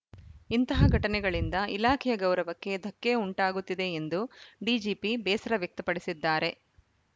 ಇಂತಹ ಘಟನೆಗಳಿಂದ ಇಲಾಖೆಯ ಗೌರವಕ್ಕೆ ಧಕ್ಕೆ ಉಂಟಾಗುತ್ತಿದೆ ಎಂದು ಡಿಜಿಪಿ ಬೇಸರ ವ್ಯಕ್ತಪಡಿಸಿದ್ದಾರೆ